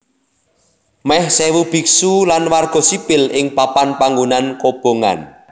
Meh sèwu biksu lan warga sipil ing papan panggonan kobongan